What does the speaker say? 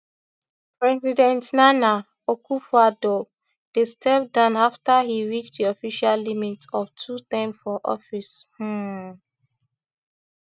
president nana akufoaddo dey step down afta e reach di official limit of two terms for office um